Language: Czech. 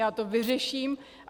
Já to vyřeším.